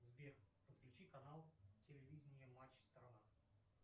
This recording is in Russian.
сбер подключи канал телевидение матч страна